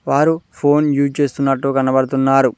వారు phone use చేస్తున్నట్టు కనబడుతున్నారు.